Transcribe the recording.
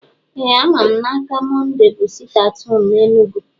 Ee ama m n’aka, Mọnde bu siti at home na Enugu